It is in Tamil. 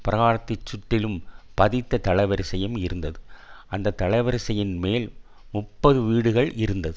பிராகாரத்தின் சுற்றிலும் பதித்த தளவரிசையும் இருந்தது அந்த தளவரிசையின்மேல் முப்பது வீடுகள் இருந்தது